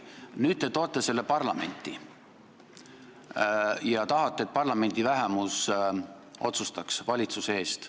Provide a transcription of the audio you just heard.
Nüüd te toote selle leppe parlamenti ja tahate, et parlamendi vähemus otsustaks valitsuse eest.